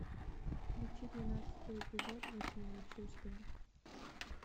включи двенадцатый эпизод восьмое чувство